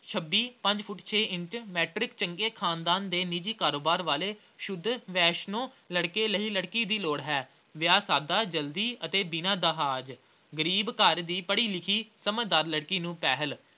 ਛੱਬੀ ਪੰਜ ਫੁੱਟ ਛੇ ਇੰਚ matric ਚੰਗੇ ਖ਼ਾਨਦਾਨ ਦੇ ਨਿੱਜੀ ਕਾਰੋਬਾਰ ਵਾਲੇ ਸ਼ੁੱਧ ਵੈਸ਼ਨੂੰ ਲੜਕੇ ਲਈ ਲੜਕੀ ਦੀ ਲੋੜ ਹੈ। ਵਿਆਹ ਸਾਦਾ ਜਲਦੀ ਅਤੇ ਬਿਨਾਂ ਦਹੇਜ ਗਰੀਬ ਘਰ ਦੀ ਪੜ੍ਹੀ-ਲਿਖੀ ਲੜਕੀ ਨੂੰ ਪਹਿਲ।